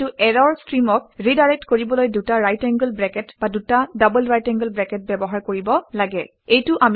কিন্তু ইৰৰ ষ্ট্ৰীমক ৰিডাইৰেক্ট কৰিবলৈ দুটা ৰাইট এংগোল ব্ৰেকেট বা দুটা ডবল ৰাইট এংগোল ব্ৰেকেট ব্যৱহাৰ কৰিব লাগে